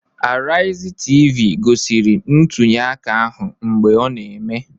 Araizi Tv gosiri ntunyeaka ahụ mgbe ọ na-eme